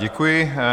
Děkuji.